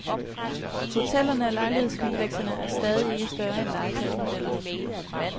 Hotellerne og lejlighedskomplekserne er stadig ikke større end legetøjsmodeller.